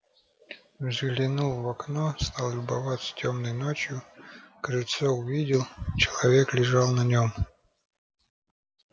взглянул в окно стал любоваться тёмной ночью крыльцо увидел человек лежал на нём